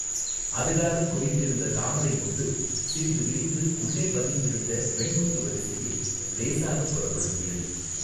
அதுகாறும் குவிந்திருந்த தாமரை மொட்டு சிறிது விரிந்து உள்ளே பதித்திருந்த வெண்முத்து வரிசையை இலேசாகப் புலப்படுத்தியது.